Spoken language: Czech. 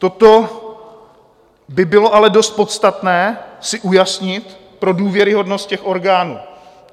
Toto by bylo ale dost podstatné si ujasnit pro důvěryhodnost těch orgánů.